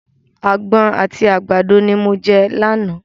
Àgbọn àti àgbàdo ni mo jẹ àná.